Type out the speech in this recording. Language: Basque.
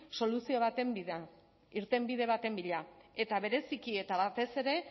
soluzio baten irtenbide baten bila eta bereziki eta batez ere